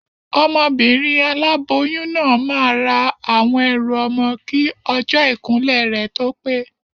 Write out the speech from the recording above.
Obìnrin aláboyún náà máa ra àwọn ẹrù ọmọ kí ọjọ́ ìkúnlẹ̀ rẹ̀ tó pé